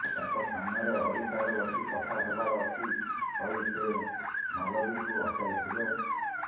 ତାଙ୍କ ସାମ୍ନାରେ Audi car ରଖି କଥା ହେବାର ଅଛି କହି ସେ ମାଲବୀଙ୍କୁ ଅଟକାଇଥିଲା